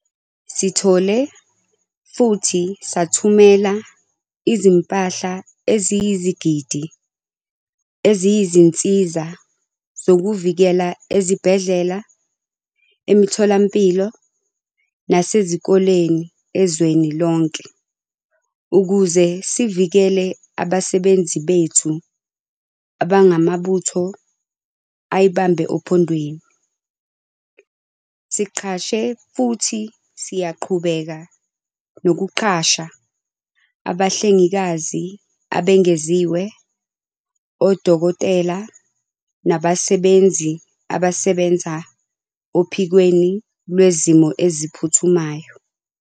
Sithole futhi sathumela izimpahla eziyizigidi eziyizinsiza zokuzivikela ezibhedlela, emitholampilo nasezikoleni ezweni lonke ukuze sivikele abasebenzi bethu abangamabutho ayibambe ophondweni. Siqashe futhi siyaqhubeka nokuqasha abahlengikazi abengeziwe, odokotela nabasebenzi abasebenza ophikweni lwezimo eziphuthumayo.